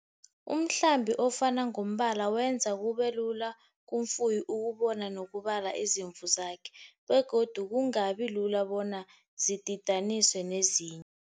Umhlambi ofana ngombala wenza kube lula kumfuyi ukubona nokubala izimvu zakhe, begodu kungabi lula bona zididaniswe nezinye.